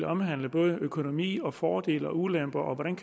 omhandle både økonomi og fordele og ulemper og